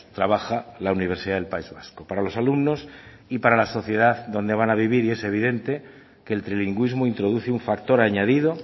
trabaja la universidad del país vasco para los alumnos y para la sociedad donde van a vivir y es evidente que el trilingüismo introduce un factor añadido